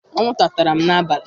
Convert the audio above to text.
Anwụnta tara m n'abalị.